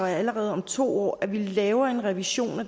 allerede om to år laver en revision hvor